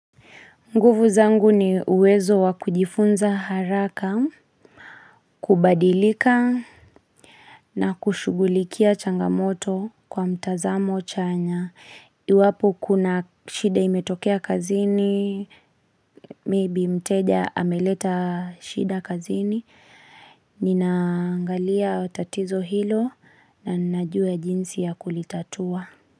Nguvu zangu ni uwezo wa kujifunza haraka, kubadilika na kushugulikia changamoto kwa mtazamo chanya. Iwapo kuna shida imetokea kazini, maybe mteja ameleta shida kazini, ninaangalia tatizo hilo na ninajua jinsi ya kulitatua.